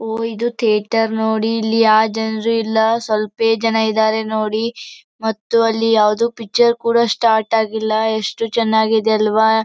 ಓ ಇದು ಥಿಯೇಟರ್ ನೋಡಿ ಇಲ್ಲಿ ಯಾವ ಜನ್ರು ಇಲ್ಲಾ ಸ್ವಲ್ಪೇ ಜನ ಇದಾರೆ ನೋಡಿ ಮತ್ತು ಅಲ್ಲಿ ಯಾವುದು ಪಿಕ್ಚರ್ ಕೂಡ ಸ್ಟಾರ್ಟ್ ಆಗಿಲ್ಲಾ ಎಷ್ಟು ಚನ್ನಾಗಿದೆ ಅಲ್ಲವಾ.